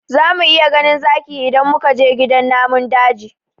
Za mu iya ganin zaki idan muka je gidan namun daji